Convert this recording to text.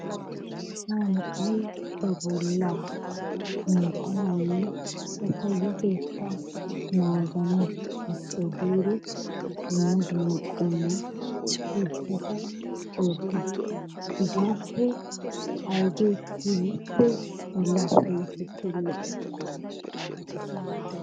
Asaa na'ay ba bollaa minttanawunne ba payyatettaa naagana gishshawu giidi dumma dumma qommo isportteta oottes. Hegaappe ayigee keehippe bollaa payyatettawu lo'oy?